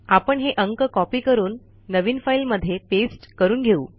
आपण हे अंक कॉपी करून नवीन फाईलमध्ये पेस्ट करून घेऊ